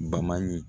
Baman ɲi